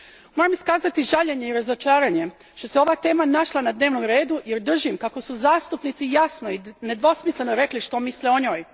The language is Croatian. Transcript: Moram iskazati žaljenje i razočaranje što se ova tema našla na dnevnom redu jer držim kako su zastupnici jasno i nedvosmisleno rekli što misle o njoj.